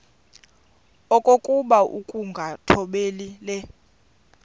okokuba ukungathobeli le